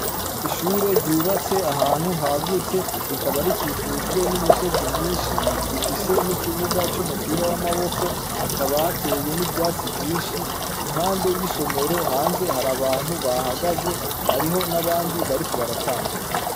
Ishure ryubatse ahantu hagutse rikaba rikikujwe n'imisozi myinshi; rifise n'ikibuga c'umupira w'amaboko, hakaba hateye n'ivyatsi vyinshi. Impande y'isomero hanze hari abantu bahagaze, hariho n'abandi bariko baratambuka.